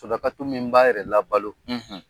Sarakatu min b'a yɛrɛ la balo